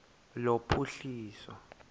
lophuhliso